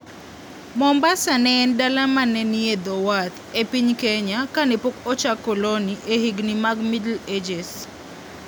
Mombasa ne en dala ma ne nie dho wath e piny Kenya kane pok ochak koloni e higini mag Middle Ages.